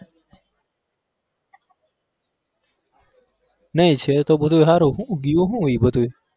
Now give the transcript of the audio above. નઈ સેવ તો બધું હારું છ ઈ બધું